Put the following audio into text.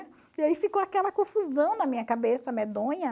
E aí ficou aquela confusão na minha cabeça, medonha.